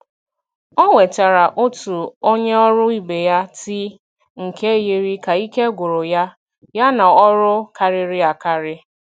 Ọ wetara otu onye ọrụ ibe ya tii nke yiri ka ike gwụrụ ya ya na ọrụ karịrị akarị.